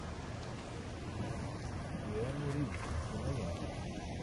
киану ривз кинолента